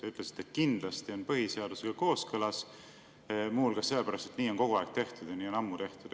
Te ütlesite, et kindlasti on põhiseadusega kooskõlas, muu hulgas sellepärast, et nii on kogu aeg tehtud ja nii on ammu tehtud.